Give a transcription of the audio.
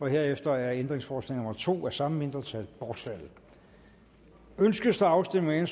herefter er ændringsforslag nummer to af samme mindretal bortfaldet ønskes afstemning